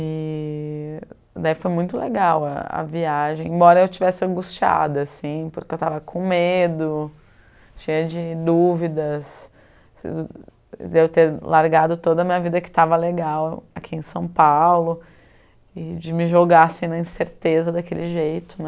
E daí foi muito legal a a viagem, embora eu tivesse angustiada assim, porque eu estava com medo, cheia de dúvidas, de eu ter largado toda a minha vida que estava legal aqui em São Paulo e de me jogar assim na incerteza daquele jeito, né?